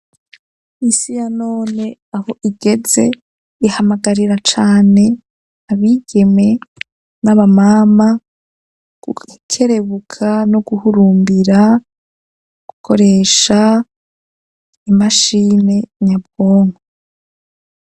Isi ya none aho igeze ihamagarira cane abigeme n'aba mama gukerebuka no guhurumbira gukoresha imashini nyabwonko.